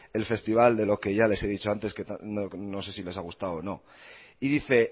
el festival de lo que ya les he dicho antes no sé si les ha gustado o no y dice